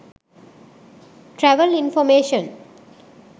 travel information